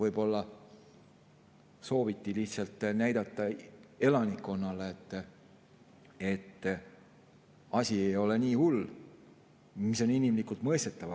Võib-olla sooviti lihtsalt näidata elanikkonnale, et asi ei ole nii hull, mis on inimlikult mõistetav.